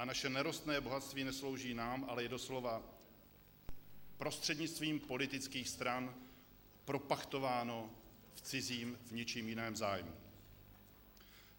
A naše nerostné bohatství neslouží nám, ale je doslova prostřednictvím politických stran propachtováno v cizím, v něčím jiném zájmu.